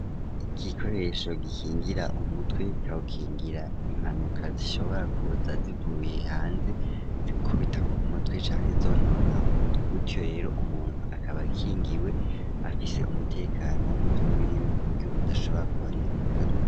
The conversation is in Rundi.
igikoresho gikingira umutwe kikawukingira impanuka zishobora kuza zivuye hanze zikubita ku mutwe cane zonona umutwe gutyo rero umuntu akaba kingiwe afise umutekano w'umutwe wiwe kuburyo udashobora konononekara.